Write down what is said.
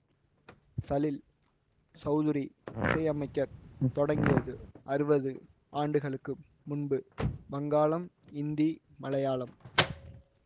சலீல் சௌதுரி இசையமைக்க தொடங்கியது ஆறுவது ஆண்டுகளுக்கு முன்பு வங்காளம் இந்தி மலையாளம்